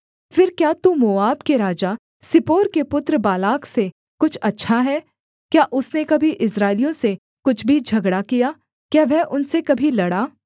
फिर क्या तू मोआब के राजा सिप्पोर के पुत्र बालाक से कुछ अच्छा है क्या उसने कभी इस्राएलियों से कुछ भी झगड़ा किया क्या वह उनसे कभी लड़ा